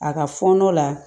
A ka fɔɔnɔ la